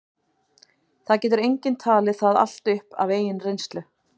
það getur enginn talið það allt upp af eigin reynslu